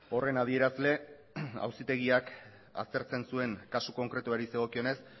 horren adierazle auzitegiak aztertzen zuen kasu konkretuari zegokionez